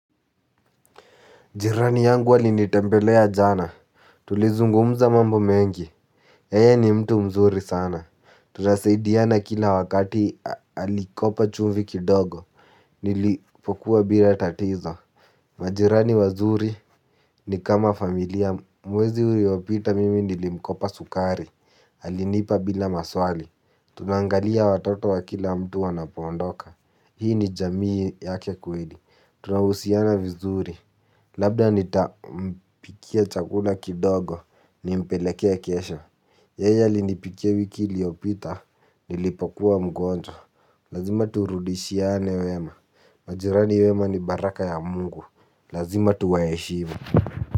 Jirani yangu alinitembelea jana, tulizungumza mambo mengi. Yeye ni mtu mzuri sana. Tunasaidiana kila wakati, alikopa chumvi kidogo. Nilipokuwa bila tatizo. Majirani wazuri ni kama familia. Mwezi uliopita mimi nilimkopa sukari, alinipa bila maswali. Tunaangalia watoto wa kila mtu wanapoondoka. Hii ni jamii yake kweli. Tunahusiana vizuri, labda nitampikia chakula kidogo nimpelekee kesho. Yeye alinipikia wiki iliyopita, nilipokuwa mgonjwa. Lazima turudishiane wema. Majirani wema ni baraka ya mungu, lazima tuwaheshimu.